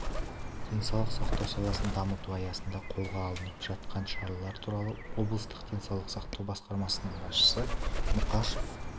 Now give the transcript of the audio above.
денсаулық сақтау саласын дамыту аясында қолға алынып жатқан шаралар туралы облыстық денсаулық сақтау басқармасының басшысы мұқашев